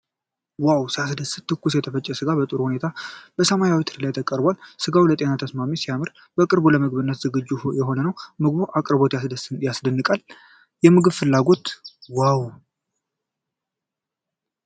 ዋው! ሲያስደስት! ትኩስ የተፈጨ ሥጋ በጥሩ ሁኔታ በሰማያዊ ትሪ ላይ ቀርቧል። ሥጋው ለጤና ተስማሚና ሲያምር! በቅርቡ ለምግብነት ዝግጁ የሆነ ነው። የምግብ አቅርቦቱ ያስደንቃል። የምግብ ፍላጎት! ዋው !